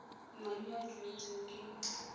madi a a duetsweng ke